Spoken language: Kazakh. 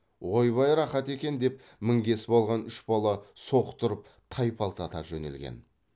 ойбай рақат екен деп мінгесіп алған үш бала соқтырып тайпалта жөнелген